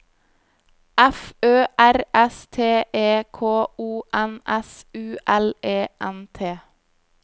F Ø R S T E K O N S U L E N T